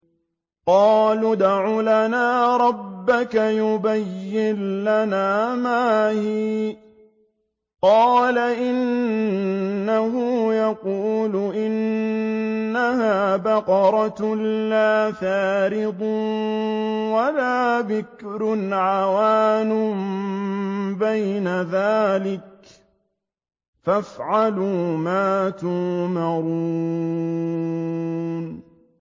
قَالُوا ادْعُ لَنَا رَبَّكَ يُبَيِّن لَّنَا مَا هِيَ ۚ قَالَ إِنَّهُ يَقُولُ إِنَّهَا بَقَرَةٌ لَّا فَارِضٌ وَلَا بِكْرٌ عَوَانٌ بَيْنَ ذَٰلِكَ ۖ فَافْعَلُوا مَا تُؤْمَرُونَ